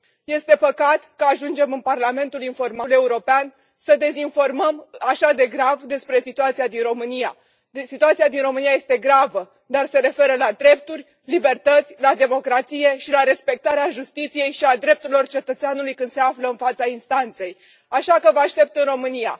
Este păcat că ajungem în Parlamentul European să dezinformăm așa de grav despre situația din România. Situația din România este gravă, dar se referă la drepturi, libertăți, la democrație și la respectarea justiției și a drepturilor cetățeanului când se află în fața instanței. Așa că vă aștept în România.